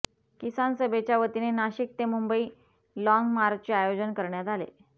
किसान सभेच्या वतीने नाशिक ते मुंबई लाँग मार्चचे आयोजन करण्यात आले